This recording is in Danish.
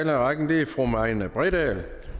i rækken er fru marianne bredal